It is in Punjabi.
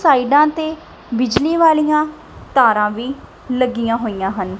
ਸਾਈਡਾਂ ਤੇ ਬਿਜਲੀ ਵਾਲੀਆਂ ਤਾਰਾਂ ਵੀ ਲੱਗੀਆਂ ਹੋਈਆਂ ਹਨ।